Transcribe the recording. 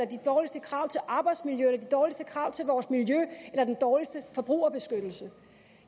de dårligste krav til arbejdsmiljø eller de dårligste krav til vores miljø eller den dårligste forbrugerbeskyttelse